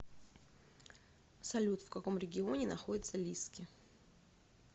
салют в каком регионе находится лиски